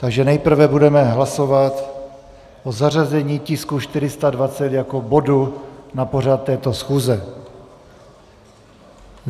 Takže nejprve budeme hlasovat o zařazení tisku 420 jako bodu na pořad této schůze.